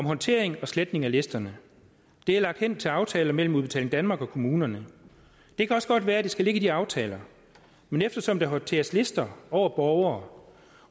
håndtering og sletning af listerne det er lagt hen til aftaler mellem udbetaling danmark og kommunerne det kan også godt være at det skal ligge i de aftaler men eftersom der håndteres lister over borgere